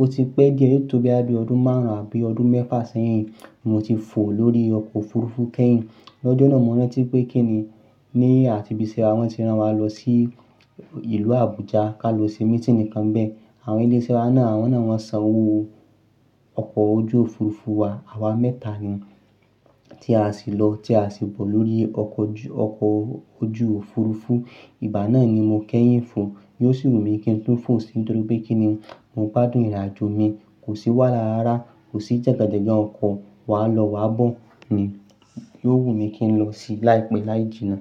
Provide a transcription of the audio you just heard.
ó ti pẹ́ díẹ̀, yó tó bo ya bi ọdún márùn-ún àbí ọdún mẹ́fà sẹ́yìn. Mo ti fò lórí ọkọ̀ òfurufú kẹ́yìn. L'ọ́jọ náà mo rántí pé kí ni ní àti bí iṣẹ́ wá, wọ́n ti rán wa lọ sí ìlú Abuja ká lọ ṣe mítìni nìkan bẹ́ẹ̀. Àwọn ilé iṣẹ́ wa náà, awọ́n náà wọ́n san owó ọkọ̀ ojú òfurufú wa. Àwa mẹ́ta ni tí a sì lọ tí a sì bọ̀ lórí ọkọ̀ ojú òfurufú. Ìgbà náà ni mo kẹ́yìn fò. Yóò sì wù mí kí n tu fò síi nítorí pé kí ni mo gbádùn ìrìnàjò mi kò sì wà lá rárá, kò sì jẹ̀gàn jẹ̀gàn ọkọ̀ wà lọ wá bọ̀ ni. Yóò wù mí kí n lọ sí i láìpẹ́ láì jìnnà.